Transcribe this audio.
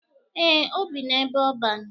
Eh, o bi n'ebe ọban.